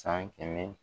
San kɛmɛ